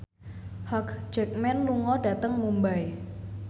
Hugh Jackman lunga dhateng Mumbai